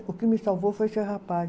O que me salvou foi esse rapaz.